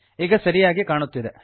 ಈಗ ಸರಿಯಾಗಿ ಕಾಣುತ್ತಿದೆ